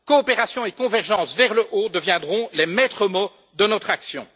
Coopération et convergence vers le haut deviendront les maîtres mots de notre action.